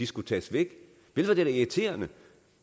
skulle tages væk vel var det da irriterende